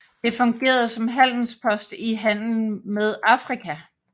Det fungerede som handelspost i handelen med Afrika